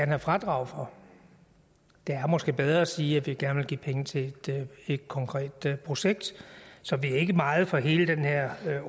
have fradrag for det er måske bedre at sige at vi gerne vil give penge til et konkret projekt så vi er ikke meget for hele den her